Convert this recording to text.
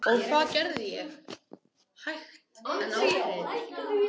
Og það gerði ég, hægt en ákveðið.